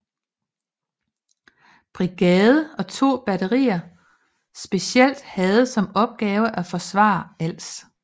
Brigade og 2 batterier specielt havde som opgave at forsvare Als